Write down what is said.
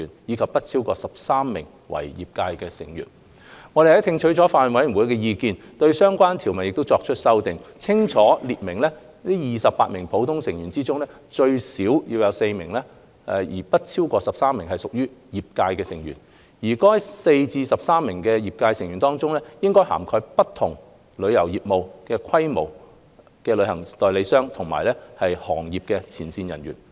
我們聽取了法案委員會的意見，對相關條文作出了修訂，清楚列明28名普通成員中，最少有4名但不超過13名屬業界成員，而在該4至13名業界成員中，應涵蓋不同旅遊業務和規模的旅行代理商及行業前線人員。